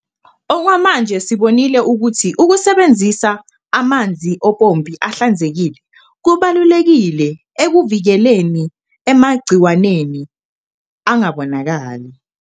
Okwamanje sibonile ukuthi ukusebenzisa amanzi ompompi ahlanzekile kubalulekile ekuvikeleni emagciwaneni angabonakali.